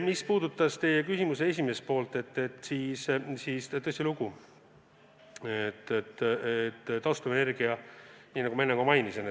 Mis puudutab teie küsimuse esimest poolt, siis tõsilugu, nagu ma enne ka mainisin,